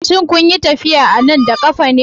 Shin kun yi tafiya a nan da ƙafa?